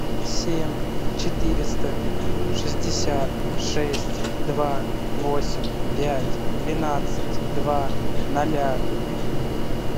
семь четыреста шестьдесят шесть два восемь пять двенадцать два ноля